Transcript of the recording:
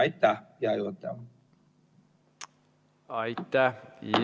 Aitäh!